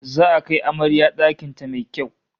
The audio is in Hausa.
Za'a kai amarya dakin ta mai kyau